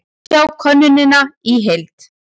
Sjá könnunina í heild